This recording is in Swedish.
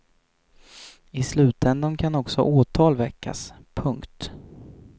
I slutändan kan också åtal väckas. punkt